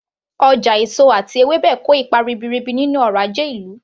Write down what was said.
Ọjà èso àti ewébẹ̀ kò ipa ribiribi nínú ọrọ̀ ajé ìlú